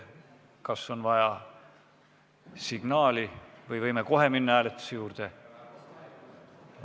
Kas on vaja signaali või võime kohe minna hääletuse juurde?